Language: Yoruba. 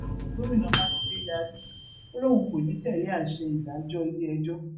gomina makinde yarí ó lóun kò ní í tẹlé àsè ìdájọ iléẹjọ